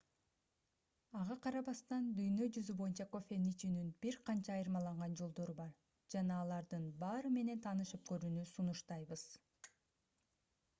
ага карабастан дүйнө жүзү боюнча кофени ичүүнүн бир канча айырмаланган жолдору бар жана алардын баары менен таанышып көрүүнү сунуштайбыз